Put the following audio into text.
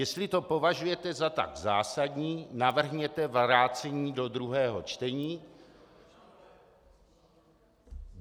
Jestli to považujete za tak zásadní, navrhněte vrácení do druhého čtení.